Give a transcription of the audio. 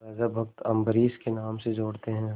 राजा भक्त अम्बरीश के नाम से जोड़ते हैं